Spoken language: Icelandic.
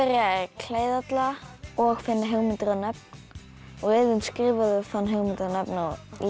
klæða alla og finna hugmyndir og nöfn og Iðunn skrifaði og fann hugmyndir og